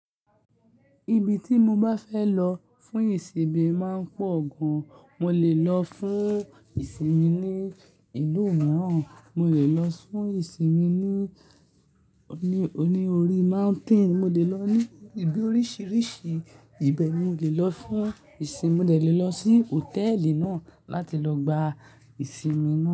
Ibi tí mo bá fẹ́ lọ fún ìsinmi máa ń pọ̀ gan. Mo lè lọ fún ìsinmi ní ìlú mìíràn, mo lè lọ fún ìsinmi ní-ní-oní orí mountain, mo lè lọ ní ibi oríṣiríṣi ibeni-- mo lè lọ fún ìsinmi, mo de lè lọ sí hòtẹ́ẹ́lì náà láti lọ gba ìsinmi náà.